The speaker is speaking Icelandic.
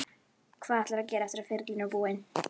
Hvað ætlarðu að gera eftir að ferilinn er búinn?